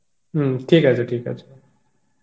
হম ঠিক আছে ঠিক আছে